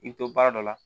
I bɛ to baara dɔ la